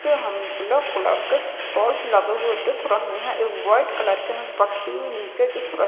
जो हमे black colour के टॉर्च लगे हुवे दिख रहे हैं एक व्हाइट कलर कि हमे पट्टी नीचे दिख रही --